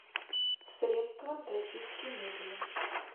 средство для чистки мебели